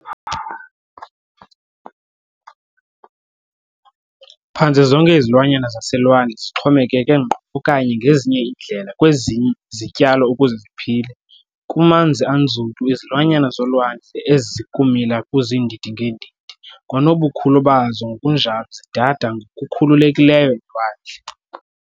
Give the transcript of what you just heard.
Phantse zonke izilwanyana zaselwandle zixhomekeke ngqo okanye, ngezinye iindlela, kwezi zityalo ukuze ziphile. Kumanzi anzulu, izilwanyana zolwandle ezikumila kuziindi-ngeendidi kwanobukhulu bazo ngkunjalo zidada ngokukhululekileyo elwandle.